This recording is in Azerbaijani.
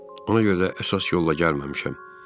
Ona görə də əsas yolla gəlməmişəm.